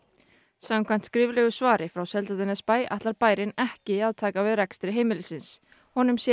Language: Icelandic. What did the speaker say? samkvæmt skriflegu svari frá Seltjarnarnesbæ ætlar bærinn ekki að taka við rekstri heimilisins honum sé